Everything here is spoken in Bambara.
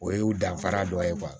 O y'u danfara dɔ ye